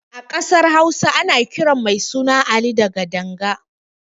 A ƙasar Hausa ana kiran mai suna Ali da Gadanga.